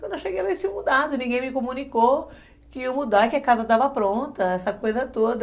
Quando eu cheguei lá, eles tinham mudado, ninguém me comunicou que iam mudar, que a casa estava pronta, essa coisa toda.